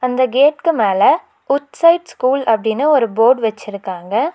அந்த கேட்க்கு மேல வுட்சைட் ஸ்கூல் அப்படினு ஒரு போர்ட் வெச்சுருக்காங்க.